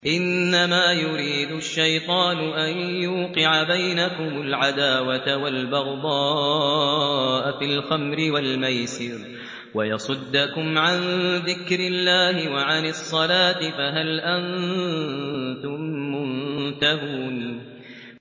إِنَّمَا يُرِيدُ الشَّيْطَانُ أَن يُوقِعَ بَيْنَكُمُ الْعَدَاوَةَ وَالْبَغْضَاءَ فِي الْخَمْرِ وَالْمَيْسِرِ وَيَصُدَّكُمْ عَن ذِكْرِ اللَّهِ وَعَنِ الصَّلَاةِ ۖ فَهَلْ أَنتُم مُّنتَهُونَ